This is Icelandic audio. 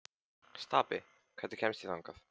Stapi, hvernig kemst ég þangað?